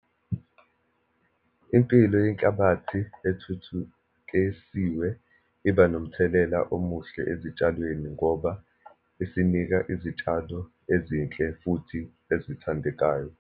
Impilo yenhlabathi ethuthukesiwe iba nomthelela omuhle ezitshalweni, ngoba isinika izitshalo ezinhle futhi ezithandekayo.